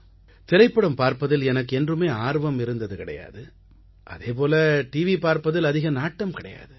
திரைப்படம் பார்ப்பதில் எனக்கு என்றுமே ஆர்வம் இருந்தது கிடையாது அதே போல டிவி பார்ப்பதில் அதிக நாட்டம் கிடையாது